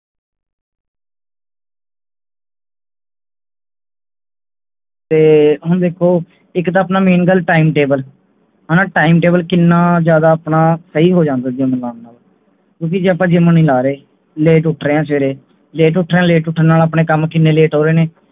ਤੇ ਹੁਣ ਵੇਖੋ ਇਕ ਤਾਂ ਆਪਣਾ main ਗੱਲ time table ਹਣਾ time table ਕਿੰਨਾ ਜਿਆਦਾ ਆਪਣਾ ਸਹੀ ਹੋ ਜਾਂਦਾ gym ਲਾਉਣ ਨਾਲ ਕਿਉਂਕੀ ਜੇ ਆਪਾਂ gym ਨਹੀਂ ਲਾ ਰਹੇ late ਉੱਠ ਰਹੇ ਹੈਂ ਸਵੇਰੇ late ਉੱਠਣ ਨਾਲ ਆਪਣੇ ਕੰਮ ਕਿੰਨੇ late ਹੋ ਰਹੇ ਨੇ